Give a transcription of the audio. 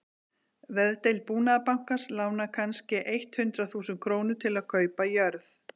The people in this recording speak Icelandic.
Veðdeild Búnaðarbankans lánar kannske eitt hundrað þúsund krónur til að kaupa jörð.